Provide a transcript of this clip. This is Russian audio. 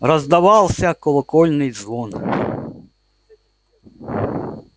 раздавался колокольный звон